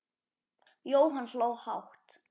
Jóhann hló hátt.